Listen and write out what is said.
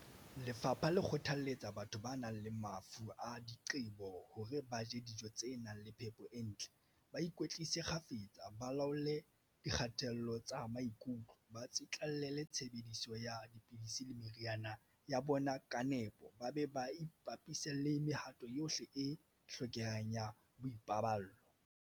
Lefapha le kgothalletsa batho ba nang le mafu a diqe-bo hore ba je dijo tse nang le phepo e ntle, ba ikwetlise kgafetsa, ba laole dikgatello tsa bona maikutlo, ba tsitla-llele tshebediso ya dipidisi le meriana ya bona ka nepo, ba be ba ipapise le mehato yohle e hlokehang ya boipaballo.